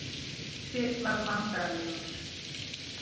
Tóti varð vandræðalegur.